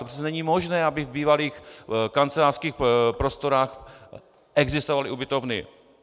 To přece není možné, aby v bývalých kancelářských prostorách existovaly ubytovny.